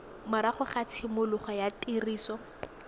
morago ga tshimologo ya tiriso